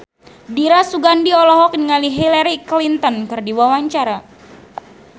Dira Sugandi olohok ningali Hillary Clinton keur diwawancara